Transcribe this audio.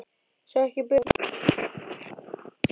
Sá ekki betur en að elskhuginn væri glottandi undir stýrinu.